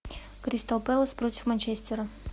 кристал пэлас против манчестера